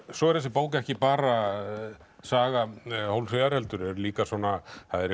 svo er þessi bók ekki bara saga Hólmfríðar heldur er líka svona